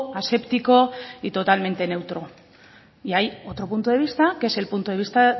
aséptico y totalmente neutro y hay otro punto de vista que es el punto de vista